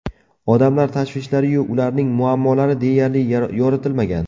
Odamlar tashvishlari-yu, ularning muammolari deyarli yoritilmagan.